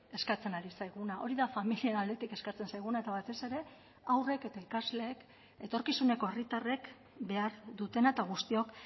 eskatzen ari zaiguna hori da familien aldetik eskatzen zaiguna eta batez ere haurrek eta ikasleek etorkizuneko herritarrek behar dutena eta guztiok